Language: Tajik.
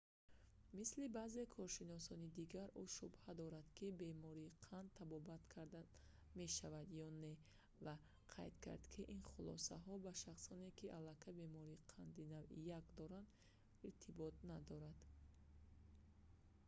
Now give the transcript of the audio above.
мисли баъзе коршиносони дигар ӯ шубҳа дорад ки бемории қанд табобат карда мешавад ё не ва қайд кард ки ин хулосаҳо ба шахсоне ки аллакай бемории қанди навъи 1 доранд иртибот надоранд